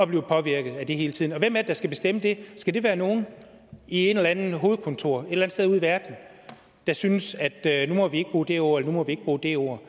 bliver påvirket af det hele tiden og hvem er det der skal bestemme det skal det være nogle i et eller andet hovedkontor et eller andet sted ude i verden der synes at nu må vi ikke bruge det ord eller nu må vi ikke bruge det ord